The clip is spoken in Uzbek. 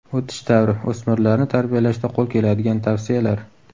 O‘tish davri: O‘smirlarni tarbiyalashda qo‘l keladigan tavsiyalar.